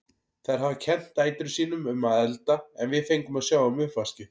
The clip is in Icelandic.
Þær hafa kennt dætrum sín um að elda en við fengum að sjá um uppvaskið.